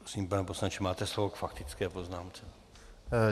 Prosím, pane poslanče, máte slovo k faktické poznámce.